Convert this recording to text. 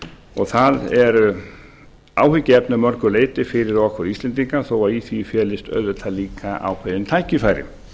og það er áhyggjuefni að mörgu leyti fyrir okkur íslendinga þó í því felist auðvitað líka ákveðin tækifæri